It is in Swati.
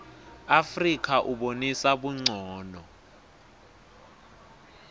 afrika ubonisa buncono